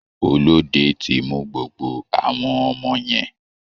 Olóde ti mú gbogbo àwọn ọmọ yẹn.